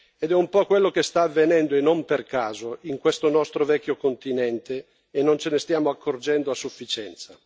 Ed è un po' quello che sta avvenendo, e non per caso, in questo nostro vecchio continente e non ce ne stiamo accorgendo a sufficienza.